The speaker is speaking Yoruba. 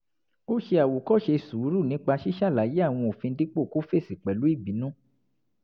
ó ṣe àwòkóṣe sùúrù nípa ṣíṣàlàyé àwọn òfin dípò kó fèsì pẹ̀lú ìbínú